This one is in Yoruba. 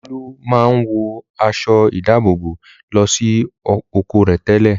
Olú máa ń wọ aṣọ-ìdáàbòbò lọ sí oko rẹ̀ tẹ́lẹ̀.